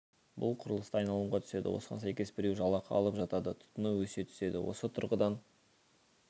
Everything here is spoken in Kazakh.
бұл құрылыста айналымға түседі осыған сәйкес біреу жалақы алып жатады тұтыну өсе түседі осы тұрғыдан